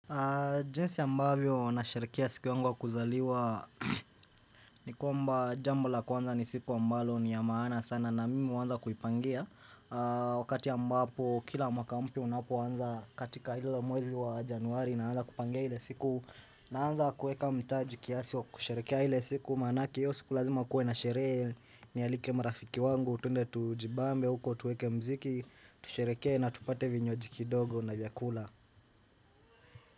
Jinsi ambavyo nasherehekea siku yangu ya kuzaliwa ni kwamba jambo la kwanza ni siku ambalo ni ya maana sana na mimi huanza kuipangia Wakati ambapo kila mwaka mpya unapoanza katika hilo mwezi wa januari naanza kupangia ile siku naanza kuweka mtaji kiasi wa kusherehekea ile siku Maanake iyo siku lazima kuwe na sherehe nialike marafiki wangu, tuendee tujibambe huko, tuweke mziki, tushereheke na tupate vinywaji kidogo na vyakula.